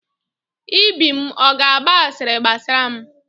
Ibim ọ ga-agba asịrị gbasara m?